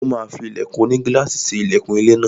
Ó máa fí ilẹ̀kùn onigílàsì ṣe ilẹkùn ilé náà.